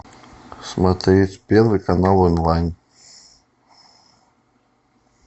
смотреть первый канал онлайн